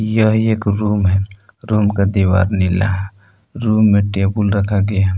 यह एक रूम है रूम का दीवार नीला है रूम में टेबुल रखा गया--